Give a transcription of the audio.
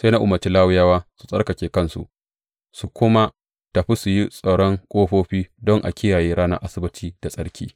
Sai na umarci Lawiyawa su tsarkake kansu su kuma tafi su yi tsaron ƙofofi don a kiyaye ranar Asabbaci da tsarki.